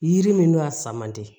Yiri min n'a sama man di